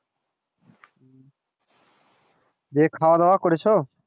দিয়ে খাওয়া দাওয়া করেছো?